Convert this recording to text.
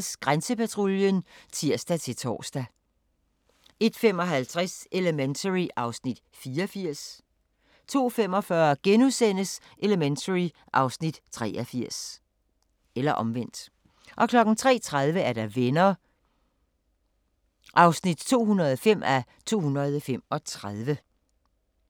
01:30: Grænsepatruljen (tir-tor) 01:55: Elementary (Afs. 84) 02:45: Elementary (Afs. 83)* 03:30: Venner (205:235)